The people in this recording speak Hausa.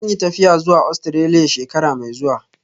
Zan yi tafiya zuwa Ostiraliya shekara mai zuwa